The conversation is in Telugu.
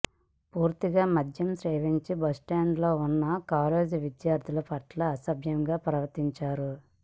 పూటుగా మద్యం సేవించి బస్టాండ్ లో ఉన్న కాలేజీ విద్యార్థినుల పట్ల అసభ్యంగా ప్రవర్తించారు